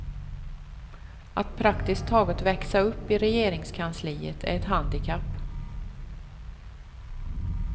Att praktiskt taget växa upp i regeringskansliet är ett handikapp.